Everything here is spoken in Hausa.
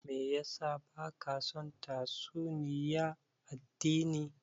Me yasa baka son tatsuniya addini?